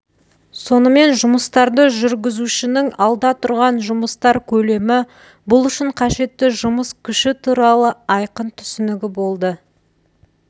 сонымен жұмыстарды жүргізушінің алда тұрған жұмыстар көлемі бұл үшін қажетті жұмыс күші туралы айқын түсінігі болды